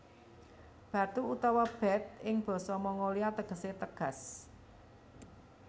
Batu utawa Bat ing basa Mongolia tegesé tegas